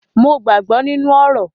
Mo gbàgbọ́ nínú orò.